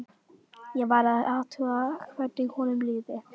Ég varð að athuga hvernig honum liði.